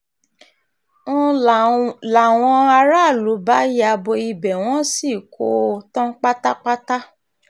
ń láwọn aráàlú bá ya bo ibẹ̀ wọ́n sì kó o tán pátápátá